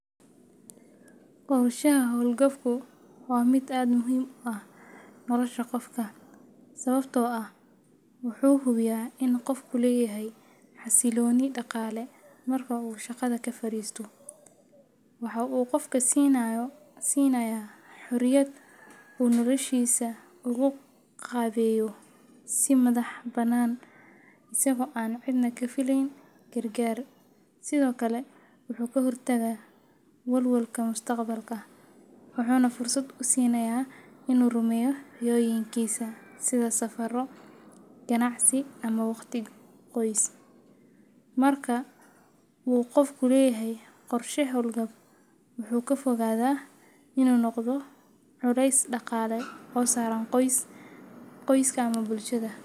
Qorshaha howlgabku waa mid aad muhiim u ah nolosha qofka, sababtoo ah wuxuu hubiyaa in qofku leeyahay xasilooni dhaqaale marka uu shaqada ka fariisto. Waxa uu qofka siinayaa xorriyad uu noloshiisa ugu qaabeeyo si madax-bannaan, isagoo aan cidna ka filayn gargaar. Sidoo kale, wuxuu ka hortagaa walwalka mustaqbalka, wuxuuna fursad u siinayaa inuu rumeeyo riyooyinkiisa sida safarro, ganacsi ama waqti qoys. Marka uu qofku leeyahay qorshe howlgab, wuxuu ka fogaadaa inuu noqdo culeys dhaqaale oo saaran qoyska ama bulshada.